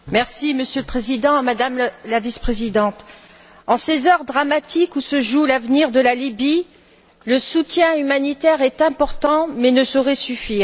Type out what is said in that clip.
Monsieur le Président, Madame la vice présidente, en ces heures dramatiques où se joue l'avenir de la Libye, le soutien humanitaire est important mais ne saurait suffire.